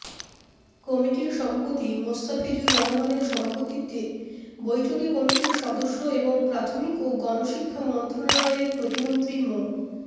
কমিটির সভাপতি মোস্তাফিজুর রহমানের সভাপতিত্বে বৈঠকে কমিটির সদস্য এবং প্রাথমিক ও গণশিক্ষা মন্ত্রণালয়ের প্রতিমন্ত্রী মো